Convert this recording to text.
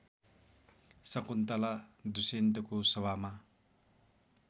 शकुन्तला दुष्यन्तको सभामा